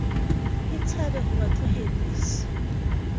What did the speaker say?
e tshabe ho ba tlohedisa